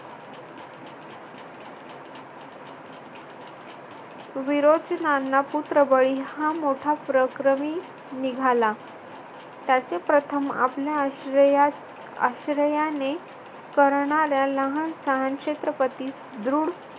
विरोचनांना पुत्रबळी हा मोठा परक्रमी निघाला. त्याचे प्रथम आपल्या आश्रयात आश्रयाने करणाऱ्या लहानसहान छत्रपती द्रुढ